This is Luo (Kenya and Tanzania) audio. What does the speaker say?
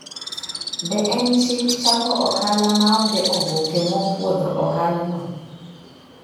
Be en chik chako ohala maonge oboke mopuodho ohalano?